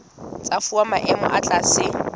tsa fuwa maemo a tlase